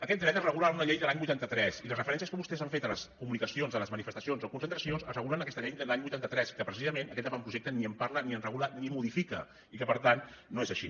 aquest dret es regula en una llei de l’any vuitanta tres i les referències que vostès han fet a les comunicacions a les manifestacions o concentracions es regulen en aquesta llei de l’any vuitanta tres que precisament aquest avantprojecte ni en parla ni en regula ni modifica i que per tant no és així